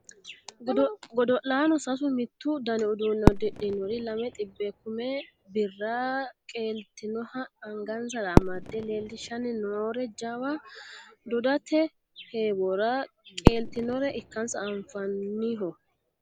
godo'laano sasu mittu dani uduunne uddidhinori lame xibbe kume birra qeeltinoha angansara amadde leellishshanni noore jawu dodate heewora qeeltinore ikansa anfanniho